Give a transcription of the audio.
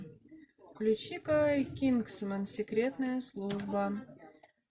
включи ка кингсман секретная служба